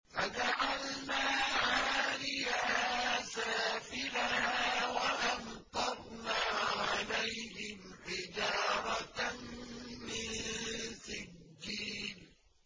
فَجَعَلْنَا عَالِيَهَا سَافِلَهَا وَأَمْطَرْنَا عَلَيْهِمْ حِجَارَةً مِّن سِجِّيلٍ